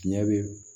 Tiɲɛ bɛ